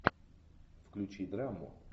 включи драму